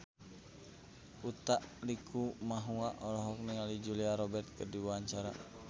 Utha Likumahua olohok ningali Julia Robert keur diwawancara